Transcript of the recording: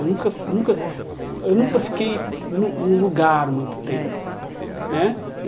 Eu nunca fi nunca eu nunca fiquei num num lugar muito tempo né.